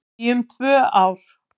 Í um tvö ár